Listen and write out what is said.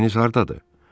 Eviniz hardadır?